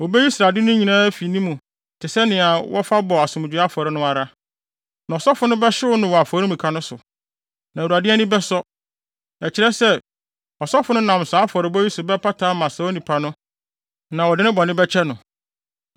Wobeyi srade no nyinaa afi mu te sɛ nea wɔfa bɔ asomdwoe afɔre no ara. Na ɔsɔfo no bɛhyew no wɔ afɔremuka no so. Na Awurade ani bɛsɔ. Ɛkyerɛ sɛ, ɔsɔfo no nam saa afɔrebɔ yi so bɛpata ama saa onipa no na wɔde ne bɔne bɛkyɛ no.